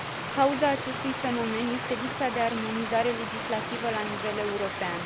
Cauza acestui fenomen este lipsa de armonizare legislativă la nivel european.